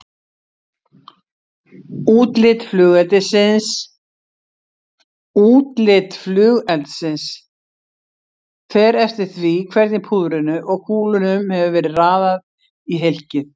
Útlit flugeldsins fer eftir því hvernig púðrinu og kúlunum hefur verið raðað í hylkið.